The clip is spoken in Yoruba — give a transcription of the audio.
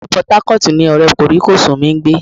Ilu Port Harcourt ni ọ̀rẹ́ kòríkòsún mi ń gbé